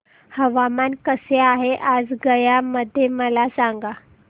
हवामान कसे आहे आज गया मध्ये मला सांगा